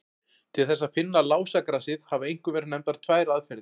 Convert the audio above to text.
Til þess að finna lásagrasið hafa einkum verið nefndar tvær aðferðir.